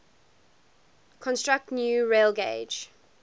construct new railgauge